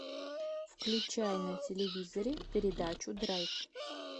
включай на телевизоре передачу драйв